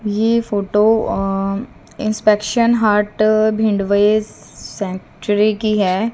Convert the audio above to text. ये फोटो अ inspection heart भिंडवए सेंचुरी की हैं।